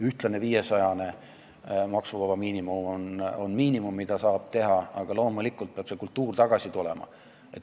Ühtlane 500-ne maksuvaba miinimum on miinimum, mida saab teha, aga loomulikult peab see kultuur tagasi tulema.